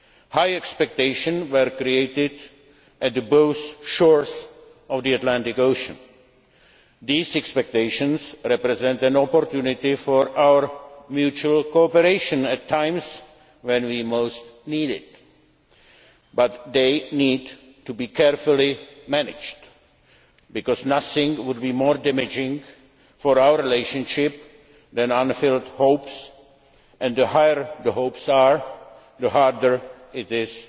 High expectations were created on both sides of the Atlantic. These expectations represent an opportunity for our mutual cooperation at times when we most need it. But they need to be carefully managed because nothing would be more damaging for our relationship than unfulfilled hopes and the higher the hopes are, the harder